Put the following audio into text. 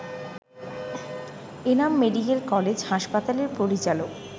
Enam medical college হাসপাতালের পরিচালক